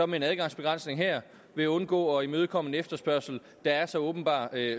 med en adgangsbegrænsning her vil undgå at imødekomme en efterspørgsel der er så åbenbar